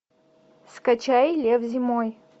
скачай лев зимой